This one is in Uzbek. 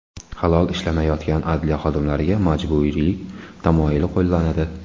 Halol ishlamayotgan adliya xodimlariga majburiylik tamoyili qo‘llanadi.